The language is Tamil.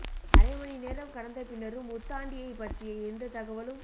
அரை மணி நேரம் கடந்த பின்னரும் உத்தாண்டியைப் பற்றிய எந்த தகவலும்